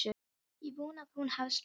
Ég vona að hún hafi sloppið.